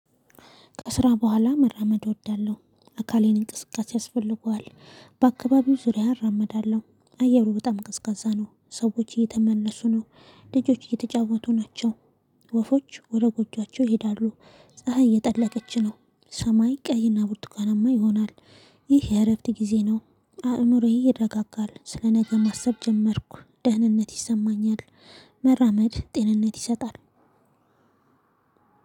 ከስራ በኋላ መራመድ እወዳለሁ አካሌን እንቅስቃሴ ያስፈልገዋል በአካባቢው ዙሪያ እራመዳለሁ አየሩ በጣም ቅዝቃዛ ነው። ሰዎች እየተመለሱ ነው ልጆች እየተጫወቱ ናቸው። ወፎች ወደ ጎጆአቸው ይሄዳሉ። ፀሀይ የጠለቀች ነው። ሰማይ ቀይና ቡርቱካናማ ይሆናል። ይህ የእረፍት ጊዜ ነው። አእምሮዬ ይረጋጋል ስለ ነገ ማሰብ ጀመርኩ ደህንነት ይሰማኛል። መራመድ ጤንነት ይሰጣል።